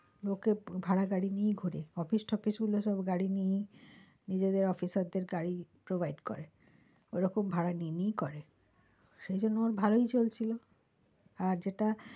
লোকের ভাড়া গাড়ি নিয়ে ঘোরে office টপিস গুলো সব গাড়ী নিয়েই, নিজেদের officer দের গাড়ি provide করে ও রকম ভাড়া নিয়ে নিয়েই করে সেই জন্য ওর ভালোই চলছিল আর যেটা